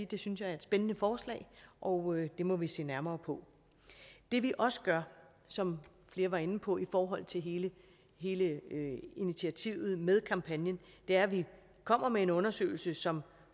det synes jeg er et spændende forslag og det må vi se nærmere på det vi også gør som flere var inde på i forhold til hele hele initiativet med kampagnen er at de kommer med en undersøgelse som